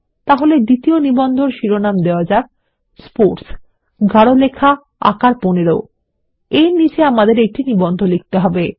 তাই দ্বিতীয় নিবন্ধটির শিরোনাম দেওয়া যাক স্পোর্টস গাঢ় লেখার আকার ১৫ তার নিচে আমাদের একটি নিবন্ধ লিখতে হবে